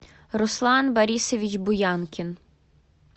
руслан борисович буянкин